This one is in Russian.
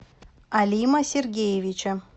алима сергеевича